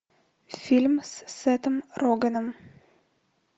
фильм с сетом рогеном